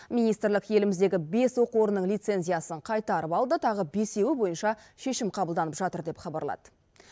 министрлік еліміздегі бес оқу орнының лицензиясын қайтарып алды тағы бесеуі бойынша шешім қабылданып жатыр деп хабарлады